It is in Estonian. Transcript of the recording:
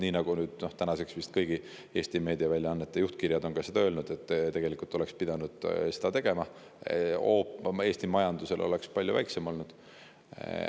Nii nagu tänaseks vist kõigi Eesti meediaväljaannete juhtkirjad on ka öelnud: tegelikult oleks pidanud seda tegema, siis oleks hoop Eesti majandusele palju väiksem olnud.